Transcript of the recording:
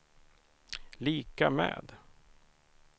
lika med